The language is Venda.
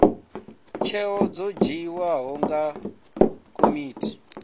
tsheo dzo dzhiiwaho nga komiti